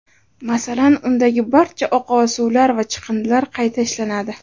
Masalan, undagi barcha oqova suvlar va chiqindilar qayta ishlanadi.